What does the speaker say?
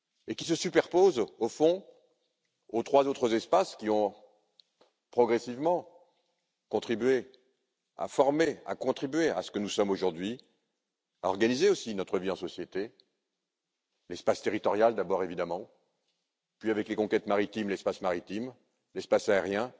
Il se superpose, au fond, aux trois autres espaces qui ont progressivement contribué à former ce que nous sommes aujourd'hui, à organiser aussi notre vie en société l'espace territorial, d'abord, évidemment, puis, avec les conquêtes, l'espace maritime et l'espace aérien.